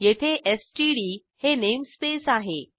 येथे एसटीडी हे नेमस्पेस आहे